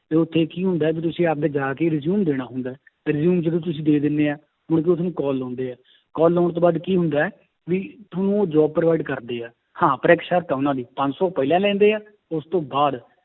ਤੇ ਉੱਥੇ ਕੀ ਹੁੰਦਾ ਹੈ ਵੀ ਤੁਸੀਂ ਆਪਦੇ ਜਾ ਕੇ resume ਦੇਣਾ ਹੁੰਦਾ ਹੈ ਤੇ resume ਜਦੋਂ ਤੁਸੀਂ ਦੇ ਦਿੰਦੇ ਹੈ, ਮੁੜਕੇ ਉਹ ਤੁਹਾਨੂੰ call ਲਾਉਂਦੇ ਹੈ call ਲਾਉਣ ਤੋਂ ਬਾਅਦ ਕੀ ਹੁੰਦਾ ਹੈ ਵੀ ਤੁਹਾਨੂੰ ਉਹ job provide ਕਰਦੇ ਹੈ, ਹਾਂ ਪਰ ਇੱਕ ਸ਼ਰਤ ਹੈ ਉਹਨਾਂ ਦੀ ਪੰਜ ਸੌ ਪਹਿਲਾਂ ਲੈਂਦੇ ਹੈ ਉਸ ਤੋਂ ਬਾਅਦ